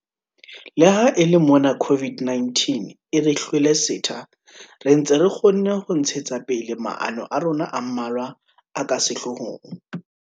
Le ha e le mona COVID-19 e re hlwele setha, re ntse re kgonne ho ntshetsa pele maano a rona a mmalwa a ka sehloohong.